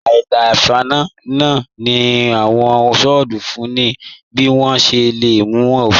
Àìlà-nfàní nlà tí awọn sítoofú ní bí wọn ṣè lé mú ẹ̀fìn.